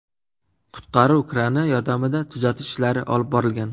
Qutqaruv krani yordamida tuzatish ishlari olib borilgan.